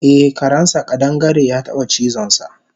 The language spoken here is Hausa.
Eh karensa ƙadangare yataba cizonsa